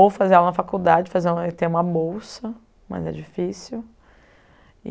Ou fazer aula na faculdade, fazer aula e ter uma bolsa, mas é difícil.